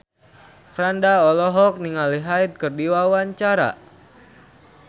Franda olohok ningali Hyde keur diwawancara